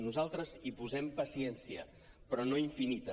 nosaltres hi posem paciència però no infinita